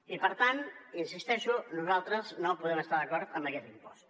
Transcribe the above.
i per tant hi insisteixo nosaltres no podem estar d’acord amb aquest impost